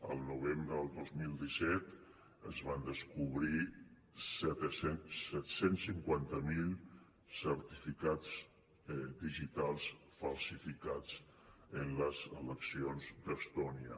al novembre del dos mil disset es van descobrir set cents i cinquanta miler certificats digitals falsificats en les eleccions d’estònia